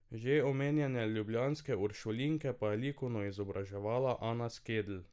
Že omenjene ljubljanske uršulinke pa je likovno izobraževala Ana Skedl.